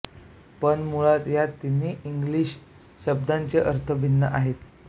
पण मुळात या तिन्ही इंग्लिश शब्दांचे अर्थ भिन्न आहेत